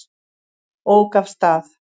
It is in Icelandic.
Ók af stað